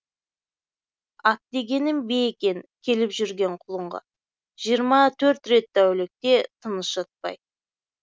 ат дегенім бие екен келіп жүрген құлынға жиырма төрт рет тәулікте тыныш жатпай